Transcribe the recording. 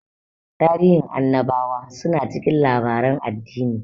Tarihin annabawa su na cikin labaren addini